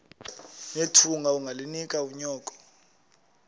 nethunga ungalinik unyoko